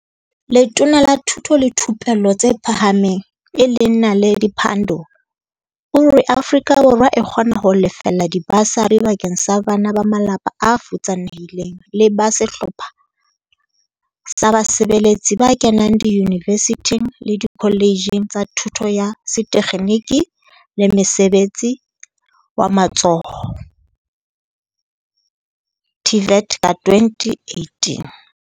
Letona la Thuto le Thupello tse Phahameng e leng Naledi Pandor o re Afrika Borwa e kgona ho lefella dibasari bakeng sa bana ba malapa a futsanehileng le ba sehlopha sa basebeletsi ba kenang diyunivesithing le dikholetjheng tsa Thuto ya Setekgeniki le Mosebetsi wa Matsoho TVET ka 2018.